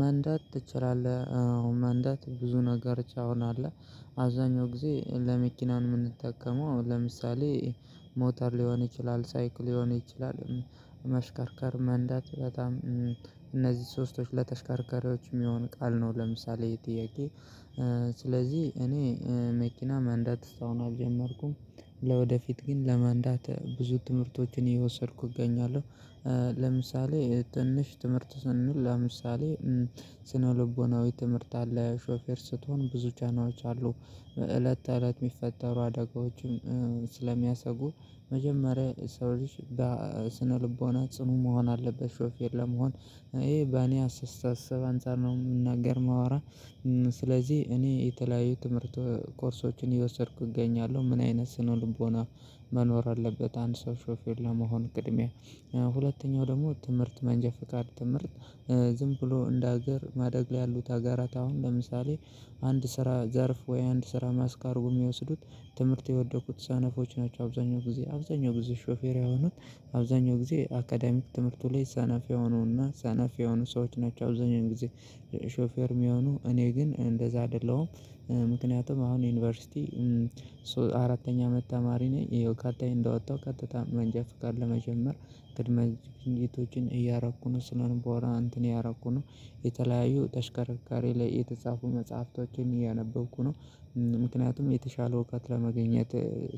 መንዳት ትችላለህ? አዎ መንዳት ብዙ ነገር ቻውን አለ አዛኛው ጊዜ ለመኪናን ነው የምንጠቀመው ለምሳሌ ሞተር ሊሆን ይችላል ሳይክል ሊሆን ይችላል ማሽከርከር መንዳት በጣም እነዚህ ሶስቶች ለተሽከርከሪዎች የሚሆን ቃል ነው። ለምሳሌ የጥያቄ ስለዚህ እኔ መኪና መንዳት እስከአሁን አልጀመርኩም። ለወደፊት ግን ለመንዳት ብዙ ትምህርቶችን የወሰድኩ እገኛለሁ። ለምሳሌ ትንሽ ትምህርት ስንል ለምሳሌ ስነልቦናዊ ትምህርት አለ ሾፌር ስትሆን ጫናዎች አሉ። እለት እለት የሚፈጠሩ አደጋዎችን ስለሚያሰጉ መጀመሪያ ሰው ልጅ በስነልቦና ጽኑ መሆን አለበት። ሹፌር ለመሆን ይሄ በእኔ አስተሳሰብ አንፃር ነው የምናገር ማወራ። ስለዚህ እኔ የተለያዩ ትምህርት ኮርሶችን አሰየወሰድኩ እገኛለሁ ምን አይነት ስነልቦና መኖር አለበት? አንድ ሰው ሾፌርው ለመሆን ቅድሚያ ሁለተኛው ደግሞ ትምህርት መንጃ ፍቃድ ትምህርት። ዝም ብሎ እንደ ሀገር ማደግ ላይ ያሉት ሀገራት አሁን ለምሳሌ አንድ ስራ ዘርፍ ወይ አንድ ስራ መስክ አርጉው የወሰዱት ትምህርት የወደኩት ሰነፎች ናቸው። አብዛኛው ጊዜ አብዛኛው ብዙ ሾፌራ የሆኑት አብዛኛው ጊዜ አካዳሚክ ትምህርቱ ላይ ሰነፍ የሆኑና ሰነፍ የሆኑ ሰዎች ናቸው አብዛኛው ጊዜ። ሾፌር የሚሆኑ እኔ ግን እንደዛ አደለዉም። ምክንያቱም አሁን ዩኒቨርሲቲ አራተኛ አመት ተማሪ ነኝ። ቀጣይ እንደወጣሁ ቀጥታ መንጃ ፍቃድ ለመጀመር ቅድመ ዝግጅቶችን እያረኩ ነው ስነ ልቦና እንትን እያረኩ ነው። የተለያዩ ተሽከረካሪ ላይ የተጻፉ መጽሐፍቶችን እያነበብኩ ነው። ምክንያቱም የተሻለ እውቀት ለማገኘት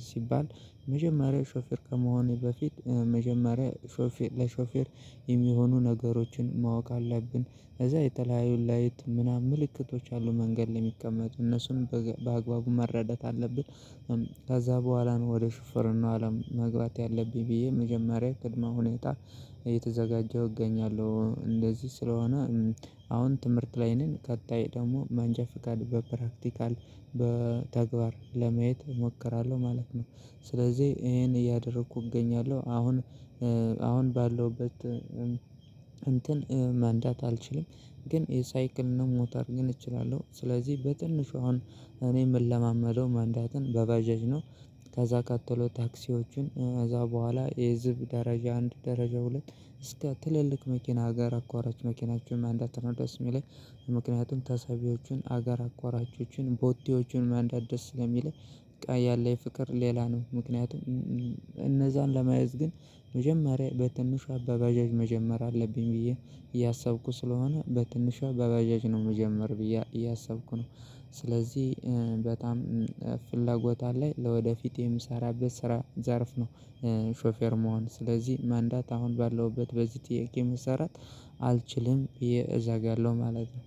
ሲባል የመጀመሪያው ሾፌር ከመሆኔ በፊት መጀመሪያ ሾፌር ለሾፌር የሚሆኑ ነገሮችን ማወቅ አለብን። ከዛ የተለያዩ ላይት ምናምን ምልክቶች አሉ መንገድ እሚቀመጡ እነሱን በአግባቡ መረዳት አለብን። ከዛ በኋላ ነው ወደ ሹፍርና አለም መግባት ያለብኝ ብዬ መጀመሪያ ቅድመ ሁኔታ እየተዘጋጀሁ እገኛለሁ። እንደዚህ ስለሆነ አሁን ትምህርት ላይ ነኝ ቀጣይ ደግሞ መንጃ ፍቃድ በፕራክቲካል በተግባር ለማየት እሞክራለሁ ማለት ነው። ስለዚህ ይሄን እያደረኩ እገኛለሁ አሁን። አሁን ባለውበት እንትን መንዳት አልችልም። ግን የሳይክል እና ሞተር ግን እችላለሁ። ስለዚህ በትንሹ አሁን እኔ የምለማመደው መንዳትን በባጃጅ ነው። ከዛ ቀጥሎ ታክሲዎቹን ከዛ በኋላ የህዝብ ደረጃ አንድ ደረጃ ሁለት እስከ ትልልቅ መኪና ሀገር አቋራጭ መኪናቸውን መንዳት ነው ደስ የሚለኝ። ምክንያቱም ተሳቢዎችን አገር አቋራቾችን ቦቴዎችን መንዳት ደስ ስለሚልኝ በቃ ያለኝ ፍቅር ሌላ ነው። ምክንያቱም እነዛን ለመያዝ ግን መጀመሪያ በትንሿ ባጃጅ መጀመር አለብኝ ብዬ እያሰብኩ ስለሆነ በትንሿ በባጃጅ ነው ምጀመር ብዬ እያሰብኩ ነው። ስለዚህ በጣም ፍላጎት አለኝ ለወደፊት የምሰራበት ስራ ዘርፍ ነው። ሾፌር መሆን ስለዚህ መንዳት አሁን ባለውበት በዚህ ጥያቄ መሰራት አልችልም እዘጋለሁ ማለት ነው